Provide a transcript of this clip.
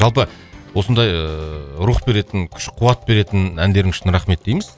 жалпы осындай ыыы рух беретін күш қуат беретін әндерің үшін рахмет дейміз